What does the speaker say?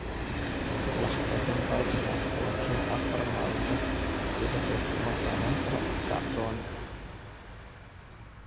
“Wax khaldan baa jira, laakiin afar maalmood gudahood kuma samayn karno kacdoon.